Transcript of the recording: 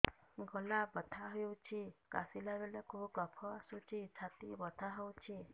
ଗଳା ବଥା ହେଊଛି କାଶିଲା ବେଳକୁ କଫ ଆସୁଛି ଛାତି ବଥା ହେଉଛି